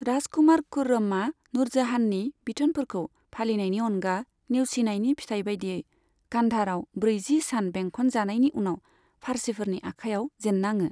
राजकुमार खुर्रमा नूरजाहाननि बिथोनफोरखौ फालिनायनि अनगा नेवसिनायनि फिथाय बायदियै, कान्धारआव ब्रैजिसान बेंखनजानायनि उनाव फार्सिफोरनि आखाइयाव जेन्नाङो।